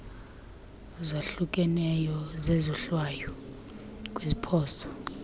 zahlukeneyo zezohlwayo kwiziphoso